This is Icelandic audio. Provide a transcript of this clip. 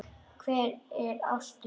Og hvar er ástin?